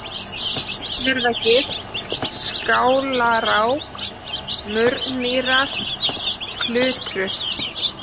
Litlurðargil, Skálarák, Murnmýrar, Klutrur